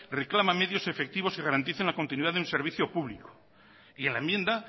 reclama medios efectivos que garanticen la continuidad de un servicio público y en la enmienda